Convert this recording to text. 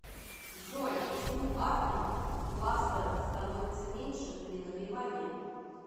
джой почему атомов в кластерах становится меньше при нагревании